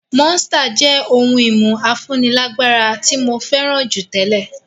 Monster jẹ́ ohun-ìmu afúnilágbára tí jù tẹ́lẹ̀.